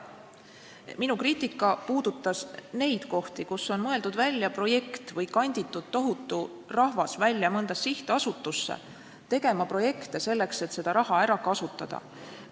Minu kriitika puudutas neid kohti, kus on mõeldud välja projekt või tohutu rahvas kanditud välja mõnda sihtasutusse tegema projekte, selleks et seda raha ära kasutada.